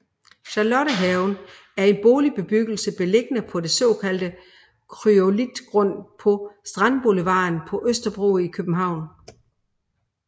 Charlottehaven er en boligbyggelse beliggende på den såkaldte kryolitgrund på Strandboulevarden på Østerbro i København